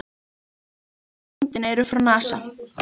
Merkingarnar á myndinni eru frá NASA.